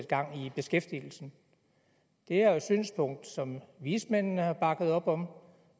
gang i beskæftigelsen det er et synspunkt som vismændene har bakket op om